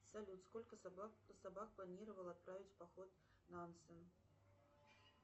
салют сколько собак планировал отправить в поход нонсен